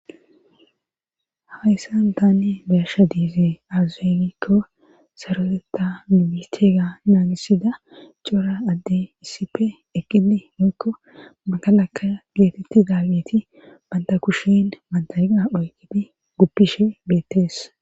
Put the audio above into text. Hafayssan tanni bersha diize azeenikko saroteta mimithega naagisida cora adde issippe eqqidi mikko magalakka geetetti daageti banta kushen mantana oygifi guppishe beettees.